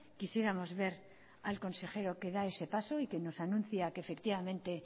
quisiéramos ver al consejero da ese paso y que nos anuncia que efectivamente